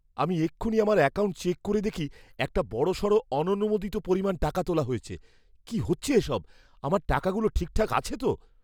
আমি এক্ষুনি আমার অ্যাকাউন্ট চেক করে দেখি একটা বড়সড় অননুমোদিত পরিমাণ টাকা তোলা হয়েছে। কী হচ্ছে এসব? আমার টাকাগুলো ঠিকঠাক আছে তো?